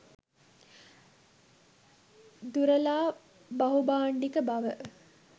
දුරලා බහුභාණ්ඩික බව